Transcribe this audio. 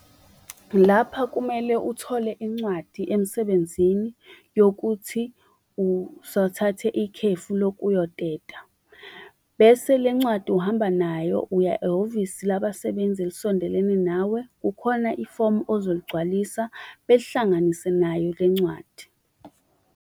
Lapha kumele uthole incwadi emsebenzini yokuthi usathathe ikhefu lokuyoteta. Bese le ncwadi uhamba nayo uya ehhovisi labasebenzi elisondelene nawe, kukhona ifomu ozoligcwalisa belihlanganise nayo le ncwadi.